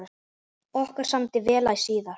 Okkur samdi vel æ síðan.